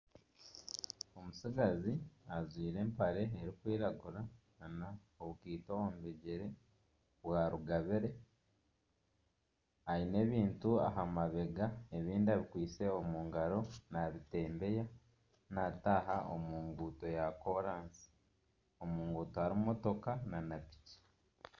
Omutsigazi ajwire empare erikwiragura n'obukaito omu bigyere bya rugabire, aine ebintu aha mabega ebindi abikwitse omu ngaaro n'abitembeya naataaha omu nguuto ya koorasi, omu nguuto harimu mutoka nana piki